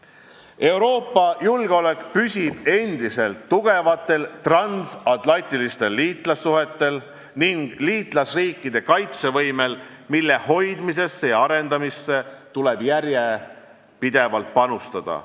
Euroopa julgeolek püsib endiselt tugevatel transatlantilistel liitlassuhetel ning liitlasriikide kaitsevõimel, mille hoidmisse ja arendamisse tuleb järjepidevalt panustada.